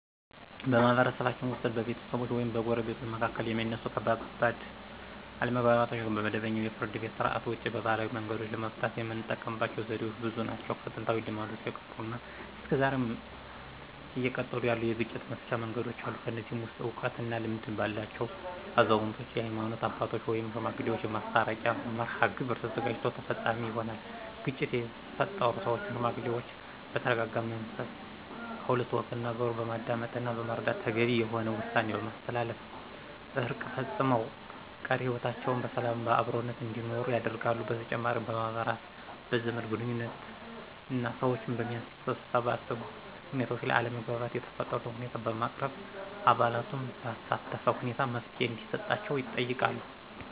በማህበረሰባችን ውስጥ በቤተሰቦች ወይም በጎረቤቶች መካከል የሚነሱ ከባድ አለመግባባቶችን ከመደበኛው የፍርድ ቤት ሥርዓት ውጪ በባህላዊ መንገዶች ለመፍታት የምንጠቀምበት ዘዴዎች ብዙ ናቸው። ከጥንታዊ ልማዶች የቀሩና እስከ ዛሬም እየቀጠሉ ያሉ የግጭት መፍቻ መንገዶች አሉ። ከነዚህም ውስጥ እውቀት እና ልምድ ባላቸው አዛውንቶች፣ የሀይማኖት አባቶች ወይም ሽማግሌዎች የማስታረቂያ መርሐግብር ተዘጋጅቶ ተፈፃሚ ይሆናል። ግጭት የፈጠሩ ሰዎችን ሽማግሌዎች በተረጋጋ መንፈስ ከሁለቱ ወገን ነገሩን በማዳመጥና በመረዳት ተገቢ የሆነ ውሳኔ በማስተላለፍ እርቅ ፈፅመው ቀሪ ህይወታቸውን በሰላምና በአብሮነት እንዲኖሩ ያደርጋሉ። በተጨማሪም በማህበራት፣ በዘመድ ግንኙዎችና ሰዎችን በሚያሰባስቡ ሁኔታዎች ላይ አለመግባባት የተፈጠረበትን ሁኔታ በማቅረብ አባላቱን ባሳተፈ ሁኔታ መፍትሔ እንዲሰጣቸው ይጠይቃሉ።